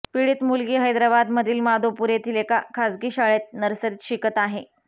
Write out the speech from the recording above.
पीडित मुलगी हैदराबादमधील माधोपूर येथील एका खासगी शाळेत नर्सरीत शिकत आहे